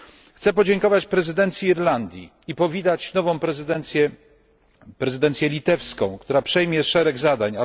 Chcę podziękować prezydencji Irlandii i powitać nową prezydencję, prezydencję litewską, która przejmie szereg zadań.